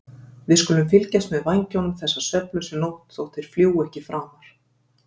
við skulum fylgjast með vængjunum þessa svefnlausu nótt þótt þeir fljúgi ekki framar.